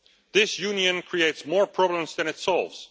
This union creates more problems than it solves.